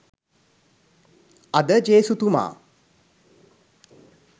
අද ජේසුතුමා